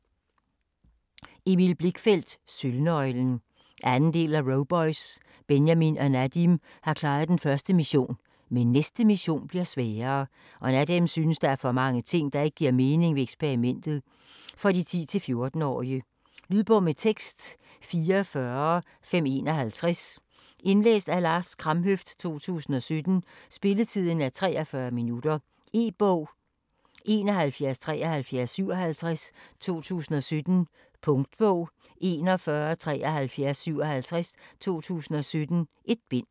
Blichfeldt, Emil: Sølvnøglen 2. del af Roboys. Benjamin og Nadim har klaret den første mission, men næste mission bliver sværere, og Nadim synes der er for mange ting der ikke giver mening ved eksperimentet. For 10-14 år. Lydbog med tekst 44551 Indlæst af Lars Kramhøft, 2017. Spilletid: 0 timer, 43 minutter. E-bog 717357 2017. Punktbog 417357 2017. 1 bind.